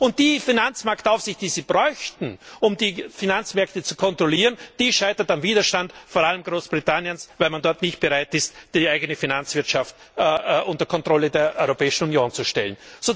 Und die Finanzmarktaufsicht, die man bräuchte, um die Finanzmärkte zu kontrollieren, die scheitert am Widerstand vor allem Großbritanniens, weil man dort nicht bereit ist, die eigene Finanzwirtschaft unter die Kontrolle der Europäischen Union zu stellen.